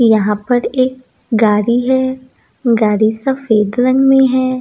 यहाँ पर एक गाड़ी है गाड़ी सफ़ेद रंग में है।